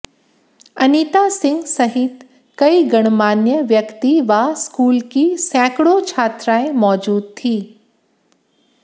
अनिता सिंह सहित कई गणमान्य व्यक्ति व स्कूल की सैकड़ों छात्राएं मौजूद थी